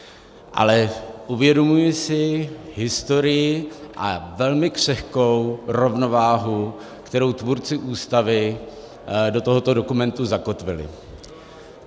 Ale uvědomuji si historii a velmi křehkou rovnováhu, kterou tvůrci Ústavy do tohoto dokumentu zakotvili.